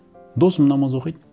досым намаз оқиды